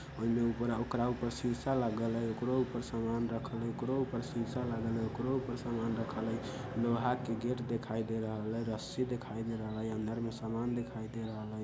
ओले ऊपरा ओकर ऊपर शीशा लागल हई ओकरो ऊपर समान रखल हई ओकरो ऊपर शीशा लागल हई ओकरो ऊपर समान रखल हई लोहा के गेट देखाई दे रहल हई रस्सी देखाई दे रहल हई अंदर में समान देखाई दे रहल हई।